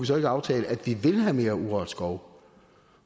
så ikke aftale at vi vil have mere urørt skov